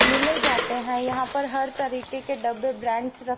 मिले जाते हैं यहां पर हर तरीक़े के डब्बे ब्रांड्स र--